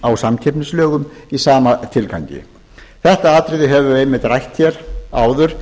á samkeppnislögum í sama tilgangi þetta atriði höfum við einmitt rætt hér áður